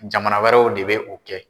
Jamana wɛrɛw de bɛ o kɛ.